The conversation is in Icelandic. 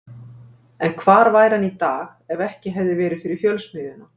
En hvar væri hann í dag ef ekki hefði verið fyrir Fjölsmiðjuna?